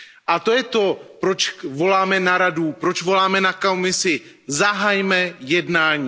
A to je to, proč voláme na Radu, proč voláme na Komisi Zahajme jednání!.